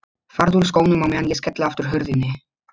Farðu úr skónum á meðan ég skelli aftur hurðinni.